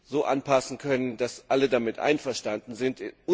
so anpassen können, dass alle damit einverstanden sind.